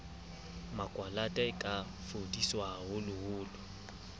makwalata e ka fodiswa haholoholo